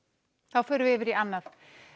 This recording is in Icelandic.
þá förum við yfir í annað